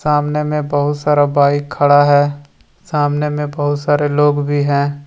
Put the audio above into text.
सामने में बहुत सारा बाइक खड़ा है सामने में बहुत सारे लोग भी हैं।